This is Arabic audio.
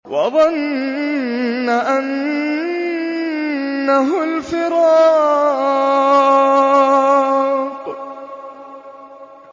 وَظَنَّ أَنَّهُ الْفِرَاقُ